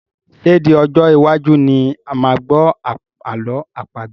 Ṣé di Ọjọ́ iwájú ni a máa gbọ́ ààlọ́ àpagbè?